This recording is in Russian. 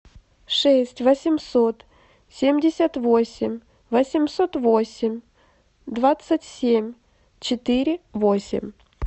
шесть восемьсот семьдесят восемь восемьсот восемь двадцать семь четыре восемь